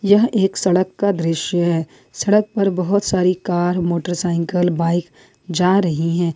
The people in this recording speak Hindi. यह एक सड़क का दृश्य है सड़क पर बहुत सारी कार मोटरसाइकिल बाइक जा रही हैं।